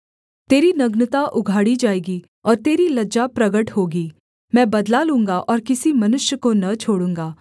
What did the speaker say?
तेरी नग्नता उघाड़ी जाएगी और तेरी लज्जा प्रगट होगी मैं बदला लूँगा और किसी मनुष्य को न छोड़ूँगा